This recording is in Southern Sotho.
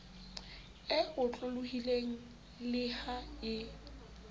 e otlolohileng le ha e